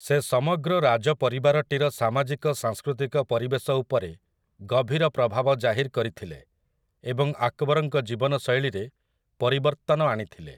ସେ ସମଗ୍ର ରାଜପରିବାରଟିର ସାମାଜିକ ସାଂସ୍କୃତିକ ପରିବେଶ ଉପରେ ଗଭୀର ପ୍ରଭାବ ଜାହିର କରିଥିଲେ ଏବଂ ଆକବରଙ୍କ ଜୀବନଶୈଳୀରେ ପରିବର୍ତ୍ତନ ଆଣିଥିଲେ ।